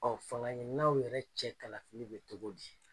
fanga ɲininaw yɛrɛ cɛ kalafili bɛ cogo di ?